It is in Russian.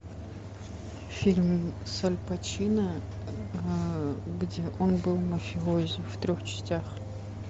фильм с аль пачино где он был мафиози в трех частях